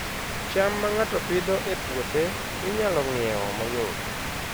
cham ma ng'ato Pidhoo e puothe, inyalo ng'iewo mayot